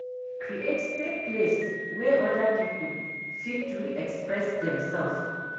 Create safe place wey oda pipo fit to express dem self